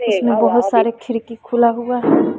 उसमें बहोत सारे खिड़की खुला हुआ है।